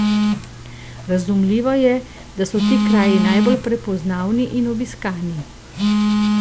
Razumljivo je, da so ti kraji najbolj prepoznavni in obiskani.